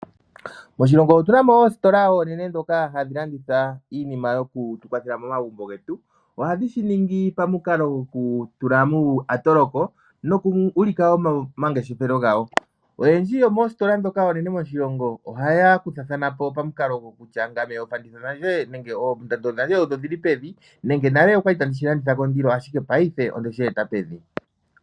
Moshilongo otu na oositola oonene ndhoka hadhi landitha iinima yoku tu kwathela momagumbo getu. Ohadhi shi ningi momukalo gokutula muuyatoloko nokuulika wo omangeshefelo gawo. Oyendji yomoositola ndhoka oonene moshilongo ohaya kuthathana po pamukalo gokutya ngame oofanditha dhandje oondando dhandje odho dhi li pevi nenge paife onde shi eta pevi.